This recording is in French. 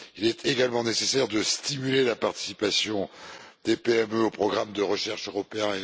Il est également nécessaire de stimuler la participation des PME au programme de recherche européen